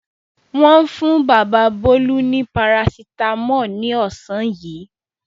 Wọ́n fún bàbá Bólú ní parasítámọ̀ ní ọ̀sán yìí.